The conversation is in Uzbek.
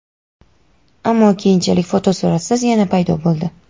ammo keyinchalik fotosuratsiz yana paydo bo‘ldi.